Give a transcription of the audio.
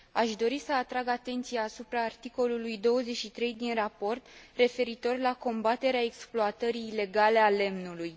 Aș dori să atrag atenția asupra articolului 23 din raport referitor la combaterea exploatării ilegale a lemnului.